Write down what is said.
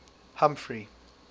humphrey